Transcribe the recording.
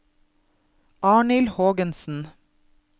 Arnhild Hågensen